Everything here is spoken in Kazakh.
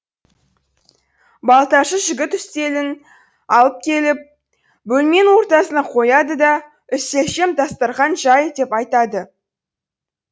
балташы жігіт үстелін алып келіп бөлменің ортасына қояды да үстелшем дастарқан жай деп айтады